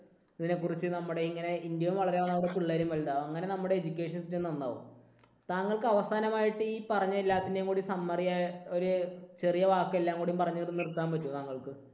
ഇതിനെക്കുറിച്ച് നമ്മുടെ ഇങ്ങനെ ഇന്ത്യയും വളരും നമ്മുടെ പിള്ളേരും വലുതാകും. അങ്ങനെ നമ്മുടെ education system നന്നാകും. താങ്കൾക്ക് അവസാനമായിട്ട് ഈ പറഞ്ഞ എല്ലാത്തിന്റെയും കൂടി summary ആയി ഒരു ചെറിയ വാക്ക് എല്ലാം കൂടി പറഞ്ഞിട്ട് നിർത്താൻ പറ്റുമോ താങ്കൾക്ക്?